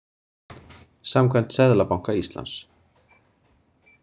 Samkvæmt Seðlabanka Íslands.